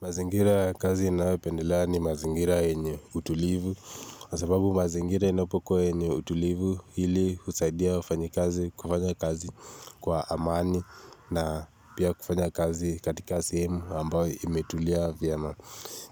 Mazingira ya kazi ninayopendelea ni mazingira yenye utulivu kwa sababu mazingira inapokuwa yenye utulivu. Hili husaidia wafanyi kazi kufanya kazi kwa amani na pia kufanya kazi katika sehemu ambayo imetulia vyema